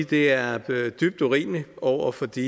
det er dybt urimeligt over for de